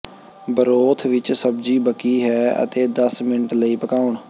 broth ਵਿੱਚ ਸਬਜ਼ੀ ਬਕੀ ਹੈ ਅਤੇ ਦਸ ਮਿੰਟ ਲਈ ਪਕਾਉਣ